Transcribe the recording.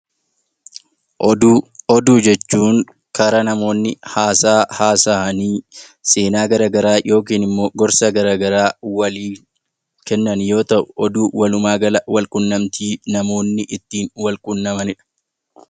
Ofuu: Oduu jechuun karaa namoonni haasa'aa haasa'anii seenaa gara garaa yookiinngorsa gara garaa waliif kennan yoo ta’u, oduun walumaa gala walquunnamtii namoonni ittiin wal quunnamanidha.